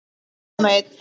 Nema einn.